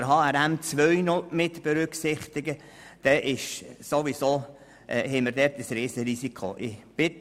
Wenn wir HRM2 mitberücksichtigen, ist klar, dass wir ein riesiges Risiko haben.